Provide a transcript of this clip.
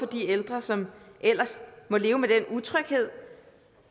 de ældre som ellers må leve med den utryghed